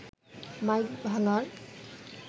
mic ভাঙার